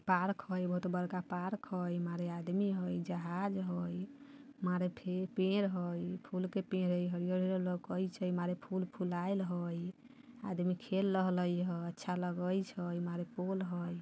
पार्क हई बहोत बड़का पार्क हई मारे आदमी हई जहाज हई| मारे फिर पेड़ हई फूल के पेड़ हई हरिअर - हरिअर लऊके छै| मारे फूल फुलाइल हई| आदमी खेल रहले हई| अच्छा लगे छै| मारे पोल हई |